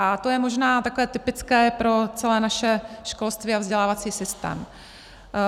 A to je možná takové typické pro celé naše školství a vzdělávací systém.